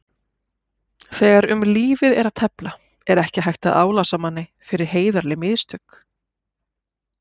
Þegar um lífið er að tefla er ekki hægt að álasa manni fyrir heiðarleg mistök.